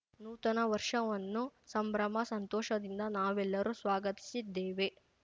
ನೂತನ ವರ್ಷವನ್ನು ಸಂಭ್ರಮ ಸಂತೋಷದಿಂದ ನಾವೆಲ್ಲರೂ ಸ್ವಾಗತಿಸಿದ್ದೇವೆ